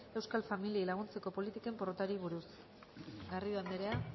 euskal familiei laguntzeko politiken porrotari buruz garrido anderea